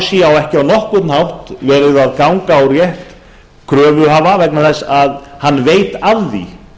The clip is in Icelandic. sé ekki á nokkurn hátt verið að ganga á rétt kröfuhafa vegna þess að hann veit af því